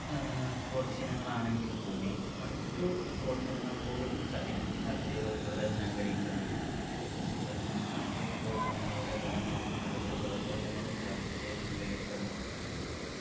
ഏർ sports ഇനങ്ങളാണെങ്കിൽ കൂടി മറ്റു sports ഇനങ്ങൾ കൂടി ച ഇതിൽ ചർച്ചചെയ്ത് ഉൾപ്പെടുത്താൻ ഞാൻ ആഗ്രഹിക്കുവാണ് അതുപോലെതന്നെ മറ്റു sports ഇനങ്ങളുടെ ഗുണങ്ങളും അതിൻ്റെ ദോഷവശങ്ങളും ചർച്ച ചെയ്യാൻ ആഗ്രഹിക്കാണ്